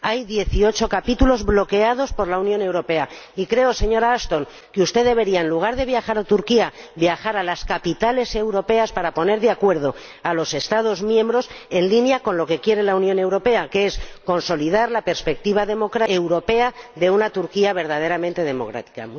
Hay dieciocho capítulos bloqueados por la Unión Europea y creo, señora Ashton, que usted debería, en lugar de viajar a Turquía, viajar a las capitales europeas para poner de acuerdo a los Estados miembros en consonancia con lo que quiere la Unión Europea, que es consolidar la perspectiva europea de una Turquía verdaderamente democrática.